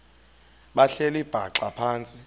behleli bhaxa phantsi